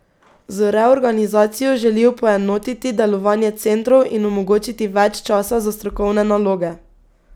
Z reorganizacijo želijo poenotiti delovanje centrov in omogočiti več časa za strokovne naloge.